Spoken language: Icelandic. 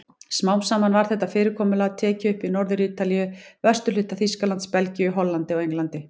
Smám saman var þetta fyrirkomulag tekið upp í Norður-Ítalíu, vesturhluta Þýskalands, Belgíu, Hollandi og Englandi.